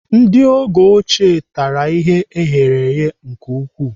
Ndị oge ochie tara ihe eghereghe nke ukwuu.